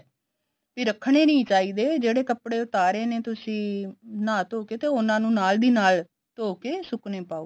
ਵੀ ਰੱਖਣੇ ਨੀ ਚਾਹੀਦੇ ਜਿਹੜੇ ਕੱਪੜੇ ਉਤਾਰੇ ਨੇ ਤੁਸੀਂ ਨਹਾ ਧੋਕੇ ਉਹਨਾ ਨੂੰ ਨਾਲ ਦੀ ਨਾਲ ਧੋਕੇ ਸੁੱਕਨੇ ਪਾਉ